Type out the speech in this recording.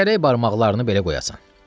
Gərək barmaqlarını belə qoyasan.